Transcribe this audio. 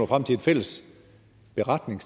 frem til en fælles beretning